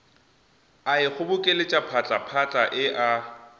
a ikgobokeletša phatlaphatla e a